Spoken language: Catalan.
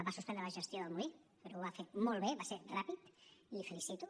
va suspendre la gestió del molí però ho va fer molt bé va ser ràpid i la felicito